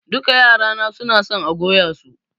Duka yara na suna son a goya su.